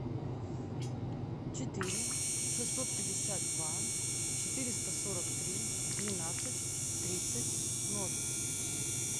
четыре шестьсот пятьдесят два четыреста сорок три двенадцать тридцать ноль